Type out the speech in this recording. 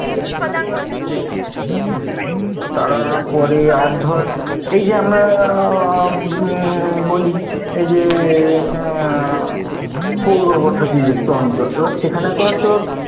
তারপরে আর ধর, এই যে আমরা আহ বলি উম এই যে উম পৌর বসতি যুক্ত অঞ্চল, সেখানে তো আর তোর